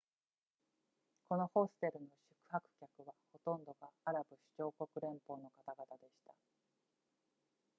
このホステルの宿泊客はほとんどがアラブ首長国連邦の方々でした